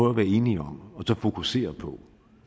at være enige om og fokusere på